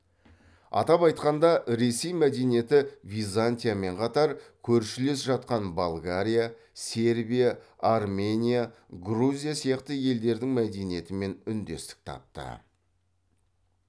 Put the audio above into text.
атап айтқанда ресей мәдениеті византиямен қатар көршілес жатқан болгария сербия армения грузия сияқты елдердің мәдениетімен үндестік тапты